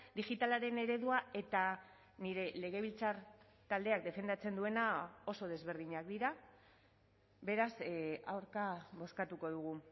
digitalaren eredua eta nire legebiltzar taldeak defendatzen duena oso desberdinak dira beraz aurka bozkatuko dugu